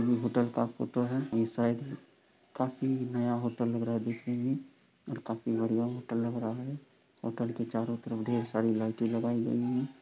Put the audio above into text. यह होटल का फोटो है | यह शायद काफी नया होटल लग रहा है देखने मैं और काफी बढ़िया होटल लग रहा है। होटल के चारो तरफ ढेर सारी लाइटे लगाई गयी हैं ।